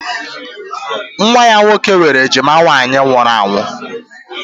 Nwa ya nwoke nwere ejima nwaanyị nwụrụ anwụ